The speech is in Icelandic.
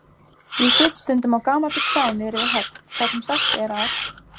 Ég sit stundum á gamalli krá niðri við höfn þar sem sagt er að